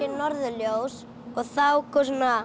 norðurljós og þá kom